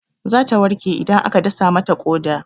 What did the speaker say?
Zata warke idan aka dasa mata ƙoda.